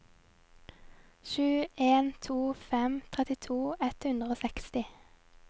sju en to fem trettito ett hundre og seksti